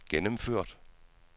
gennemført